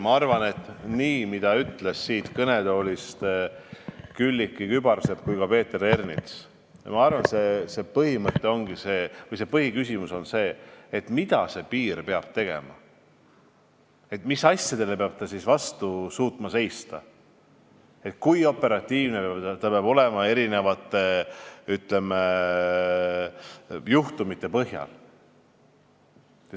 Ma arvan, mõeldes sellele, mida ütlesid siit kõnetoolist nii Külliki Kübarsepp kui ka Peeter Ernits, et põhiküsimus on see, mida piiril peab tegema, mis asjadele peab piir suutma vastu seista, kui operatiivne peab olema erinevate, ütleme, juhtumite korral.